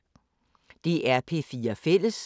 DR P4 Fælles